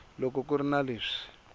loko ku ri na leswi